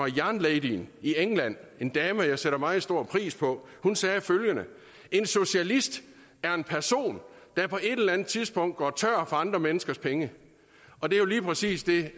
jernladyen i england en dame jeg sætter meget stor pris på hun sagde følgende en socialist er en person der på et eller andet tidspunkt går tør for andre menneskers penge og det er jo lige præcis det